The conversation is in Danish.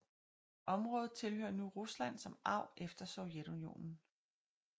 Området tilhører nu Rusland som arv efter Sovjetunionen